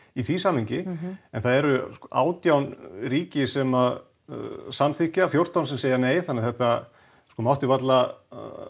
í því samhengi það eru átján ríki sem samþykkja fjórtán sem segja nei þannig að þetta mátti varla